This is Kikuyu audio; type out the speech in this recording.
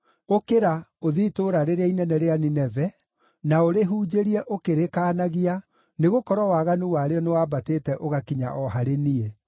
“Ũkĩra, ũthiĩ itũũra rĩrĩa inene rĩa Nineve, na ũrĩhunjĩrie ũkĩrĩkaanagia, nĩgũkorwo waganu warĩo nĩwambatĩte ũgakinya o harĩ niĩ.”